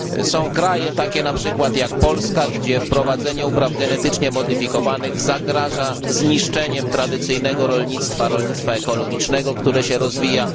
Są takie państwa, jak np. Polska, gdzie wprowadzenie upraw genetycznie modyfikowanych zagraża zniszczeniem tradycyjnego rolnictwa, rolnictwa ekologicznego, które się rozwija.